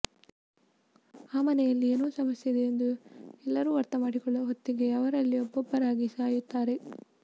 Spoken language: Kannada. ಆ ಮನೆಯಲ್ಲಿ ಏನೋ ಸಮಸ್ಯೆಯಿದೆ ಎಂದು ಎಲ್ಲರೂ ಅರ್ಥ ಮಾಡಿಕೊಳ್ಳುವ ಹೊತ್ತಿಗೆ ಅವರಲ್ಲಿ ಒಬ್ಬೊಬ್ಬರಾಗಿ ಸಾಯುತ್ತಾರೆ